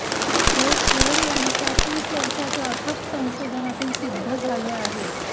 हे खेर यांच्या तीस वर्षाच्या अथक संशोधनातून सिद्ध झाले आहे